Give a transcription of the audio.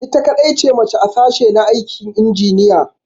Ita kadai ce mace a sashi na aikin injiniya.